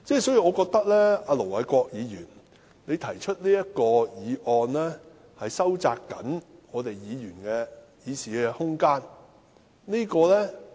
所以，我覺得盧偉國議員動議中止待續議案，是要收窄議員的議事空間。